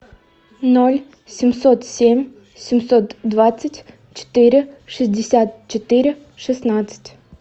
ноль семьсот семь семьсот двадцать четыре шестьдесят четыре шестнадцать